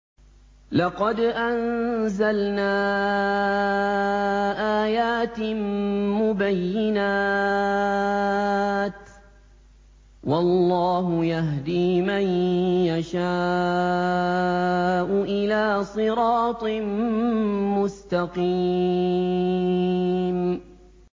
لَّقَدْ أَنزَلْنَا آيَاتٍ مُّبَيِّنَاتٍ ۚ وَاللَّهُ يَهْدِي مَن يَشَاءُ إِلَىٰ صِرَاطٍ مُّسْتَقِيمٍ